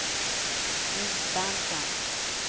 Nils Berntsson